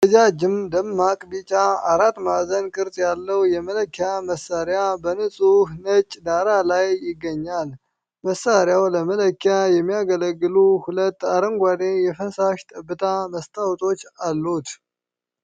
ረጃጅም፣ ደማቅ ቢጫ፣ አራት ማዕዘን ቅርጽ ያለው የመለኪያ መሣሪያ በንፁህ ነጭ ዳራ ላይ ይገኛል። መሣሪያው ለመለኪያ የሚያገለግሉ ሁለት አረንጓዴ የፈሳሽ ጠብታ መስታዎቶች አሉት።